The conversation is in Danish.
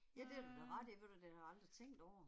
Ja det har du da ret i ved du hvad, det har jeg aldrig tænkt over